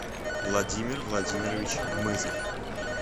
владимир владимирович гмызов